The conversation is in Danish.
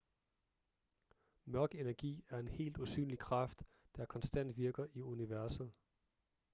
mørk energi er en helt usynlig kraft der konstant virker i universet